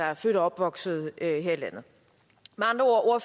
er født og opvokset her i landet med andre ord